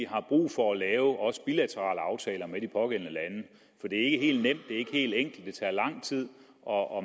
har brug for at lave bilaterale aftaler med de pågældende lande for det er ikke helt nemt det er ikke helt enkelt det tager lang tid og